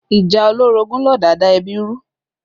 Ìjà olórogún ló da da ẹbí rú